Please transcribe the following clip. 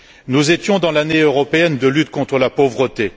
Nous étions dans l'année européenne de lutte contre la pauvreté.